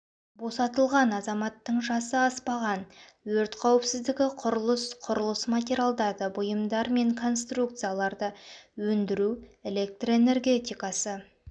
босатылған азаматтың жасы аспаған өрт қауіпсіздігі құрылыс құрылыс материалдарды бұйымдар мен конструкцияларды өндіру электр энергетикасы